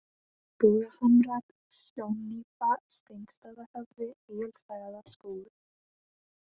Vogahamrar, Sjónnípa, Steinastaðahöfði, Egilsstaðaskógur